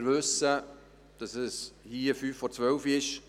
Wir wissen, dass es hier fünf vor zwölf ist.